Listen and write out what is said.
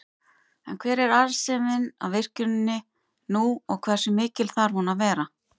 En hver er arðsemin af virkjuninni nú og hversu mikil þarf hún að vera?